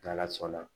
N'ala sɔnna